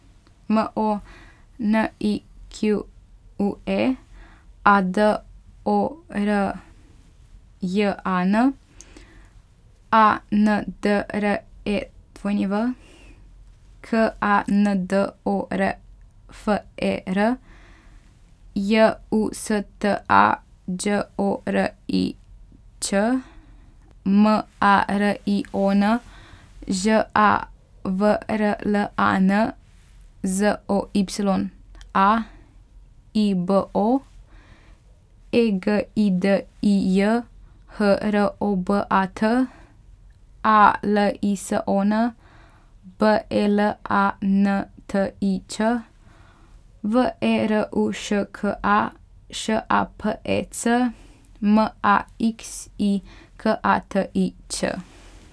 M O N I Q U E, A D O R J A N; A N D R E W, K A N D O R F E R; J U S T A, Đ O R I Ć; M A R I O N, Ž A V R L A N; Z O Y A, I B O; E G I D I J, H R O B A T; A L I S O N, B E L A N T I Č; V E R U Š K A, Š A P E C; M A X I, K A T I Ć.